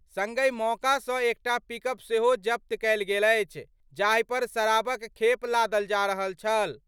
संगहि मौका सं एकटा पिकअप सेहो जब्त कएल गेल अछि. जाहि पर शराबक खेप लादल जा रहल छल।